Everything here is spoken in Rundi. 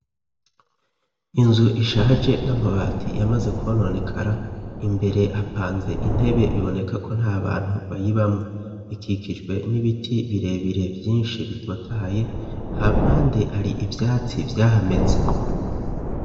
inzu ishaje n'amabati yamaze kononekara imbere apanze intebe biboneka ko nta bantu bayibamwo ikikijwe n'ibiti birebire vyinshi bitotahaye hampande hari ibyatsi vyahameze.